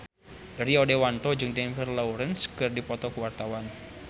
Rio Dewanto jeung Jennifer Lawrence keur dipoto ku wartawan